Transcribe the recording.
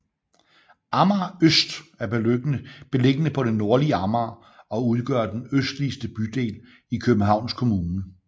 Amager Øst er beliggende på det nordlige Amager og udgør den østligste bydel i Københavns Kommune